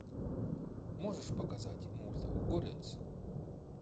можешь показать мульт горец